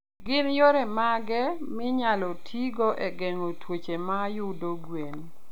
Gin yore mage minyalo tigo e geng'o tuoche mayudo gwen?